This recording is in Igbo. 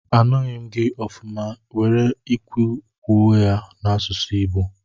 Anughi m gi ofuma, iwere ike kwuo n'asusu igbo?